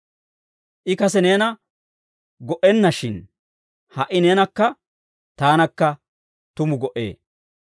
I kase neena go"enna; shin ha"i neenakka taanakka tumu go"ee.